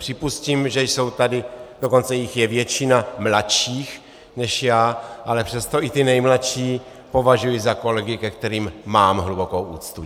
Připustím, že jsou tady, dokonce jich je většina, mladší než já, ale přesto i ti nejmladší považuji za kolegy, ke kterým mám hlubokou úctu.